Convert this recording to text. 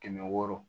Kɛmɛ wɔɔrɔ